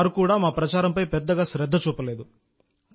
వారు కూడా మా ప్రచారంపై పెద్దగా శ్రద్ధ చూపలేదు